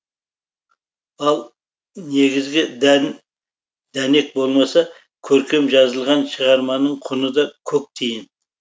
ал негізгі дән дәнек болмаса көркем жазылған шығарманың құны да көк тиын